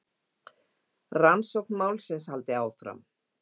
Rannsókn málsins haldi áfram.